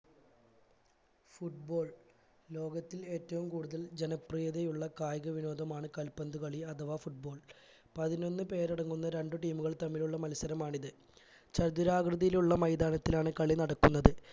football ലോകത്തിൽ ഏറ്റവും കൂടുതൽ ജനപ്രീതിയുള്ള കായിക വിനോദമാണ് കാൽ പന്തു കളി അഥവാ football പതിനൊന്നു പേരടങ്ങുന്ന രണ്ടു team കൾ തമ്മിലുള്ള മത്സരമാണിത് ചതുരാകൃതിയിലുള്ള മൈതാനത്തിലാണ് കളി നടക്കുന്നത്